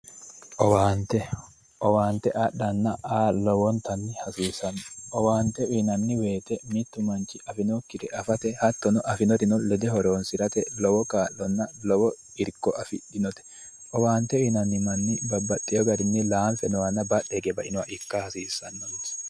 OWaante, owaante adhanna aa lowontanni hasiisano, owaante woyte mitu manchi lawinokkire afate afinoreno lede horonsirate lowo kaa'lonna lowo irko afidhinote owaante uyinanni manni babbaxeyo garinni lanfe noohanna badhe higge bainoha ikka noonsa.